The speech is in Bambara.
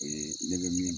O ye ne bɛ min dun